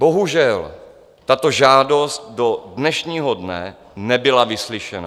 Bohužel, tato žádost do dnešního dne nebyla vyslyšena.